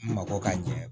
Mabɔ ka ɲɛ